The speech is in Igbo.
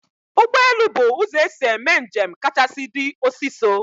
Ụgbọelu bu ụzọ esi eme njem kachasị di osiso